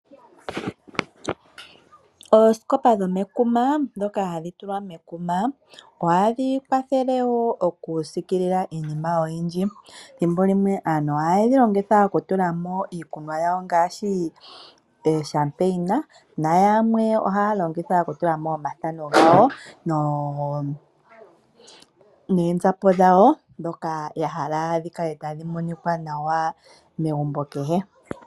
Oosikopa dhomekuma ndhoka hadhi tulwa mekuma ohadhi kwathele wo oku siikilila iinima oyindji. Thimbo limwe aantu yamwe ohaye dhilongitha oku tula mo iikunwa yawo ngaashi oshampeina nayamwe ohayedhi longitha oku tulamo omathano gawo neenzapo dhawo ndhoka yahala dhi kale tadhi monika nawa megumbo kehe.